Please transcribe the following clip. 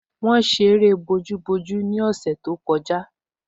Wọ́n ṣe eré bojúbojú ní ọ̀sẹ̀ tó kọjá